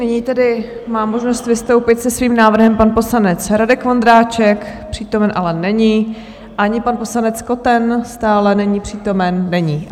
Nyní tedy má možnost vystoupit se svým návrhem pan poslanec Radek Vondráček, přítomen ale není, ani pan poslanec Koten, stále není přítomen - není.